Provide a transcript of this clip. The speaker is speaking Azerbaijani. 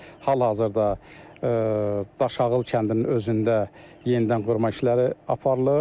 Hal-hazırda Daşağıl kəndinin özündə yenidən qurma işləri aparılır.